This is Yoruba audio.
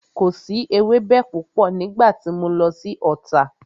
Kò si ewẹ́bẹ púpọ̀ nígbà tí mo lọ sí Ota